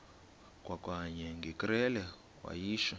kwakanye ngekrele wayishu